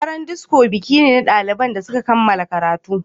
Daren disco biki ne na daliban da suka kammala karatu.